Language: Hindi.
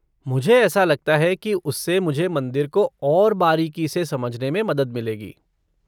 मुझे ऐसा लगता है कि उससे मुझे मंदिर को और बारीकी से समझने में मदद मिलेगी।